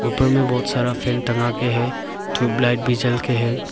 ऊपर में बहोत सारा फैन टंगा के है ट्यूबलाइट भी जल के है।